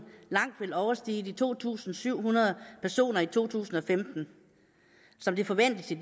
langt vil overstige de to tusind syv hundrede personer i to tusind og femten som det forventes i